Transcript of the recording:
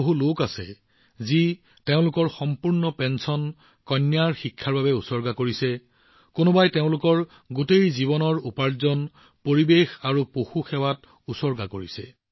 বহুতো লোক আছে যিয়ে তেওঁলোকৰ সম্পূৰ্ণ পেঞ্চন কন্যাৰ শিক্ষাৰ বাবে ব্যয় কৰিছে কিছুমানে তেওঁলোকৰ গোটেই জীৱনৰ উপাৰ্জন পৰিৱেশ আৰু জীৱৰ বাবে উৎসৰ্গা কৰিছে